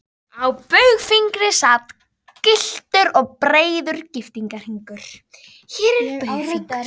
Á baugfingri sat gylltur og breiður giftingarhringur.